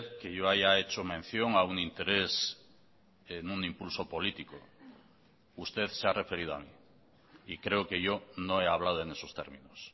que yo haya hecho mención a un interés en un impulso político usted se ha referido a mí y creo que yo no he hablado en esos términos